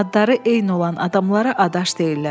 Adları eyni olan adamlara adaş deyirlər.